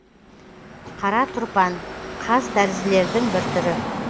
қара тұрпан қазтәрізділердің бір түрі